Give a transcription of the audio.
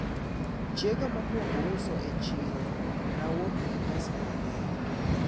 chienga mokwongo uso e chiro, nawuok gi pesa mangeny